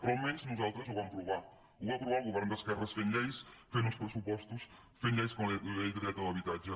però almenys nosaltres ho vam provar ho va provar el govern d’esquerres fent lleis fent uns pressupostos fent lleis com la llei del dret a l’habitatge